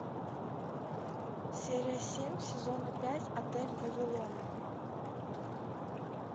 серия семь сезона пять отель вавилон